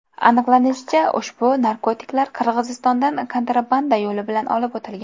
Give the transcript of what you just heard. Aniqlanishicha, ushbu narkotiklar Qirg‘izistondan kontrabanda yo‘li bilan olib o‘tilgan.